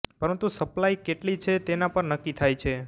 પરંતુ સપ્લાય કેટલી છે તેના પર નક્કી થાય છે